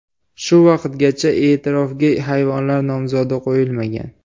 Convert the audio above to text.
Shu vaqtgacha e’tirofga hayvonlar nomzodi qo‘yilmagan.